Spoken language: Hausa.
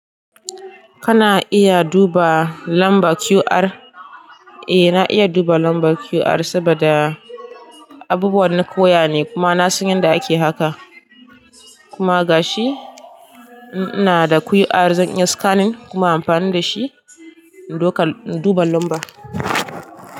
Kana iya duba lamba QR? Eh na iya duba lambar QR saboda abubuwa na koya ne kuma na san yadda ake haka. Kuma gashi ina da QR zan iya scanning kuma amfani da shi in duba, in duba lamba.